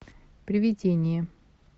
привидение